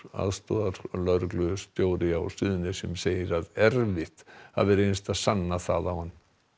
aðstoðarlögreglustjóri á Suðurnesjum segir að erfitt hafi reynst að sanna það á hann